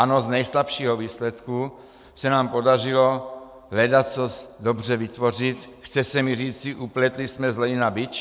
Ano, z nejslabšího výsledku se nám podařilo ledacos dobře vytvořit, chce se mi říci, upletli jsme z lejna bič.